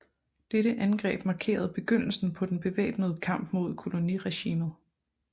Dette angreb markerede begyndelsen på den bevæbnede kamp mod koloniregimet